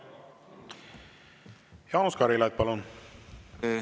Jaanus Karilaid, palun!